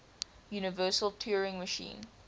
universal turing machine